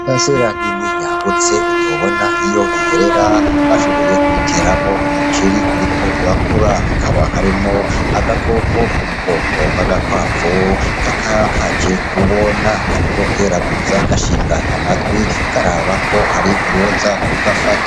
Paracera nini yagutse ntubona iyo iherera bashoboye kuyiteramo umuceri uriko urakura, hakaba harimwo agakoko ko mubwoko bw'agakwavu kakaba kaje kubona kariko keraguza gashinga amatwi karabako hari uwoza kugafata.